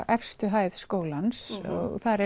efstu hæð skólans þar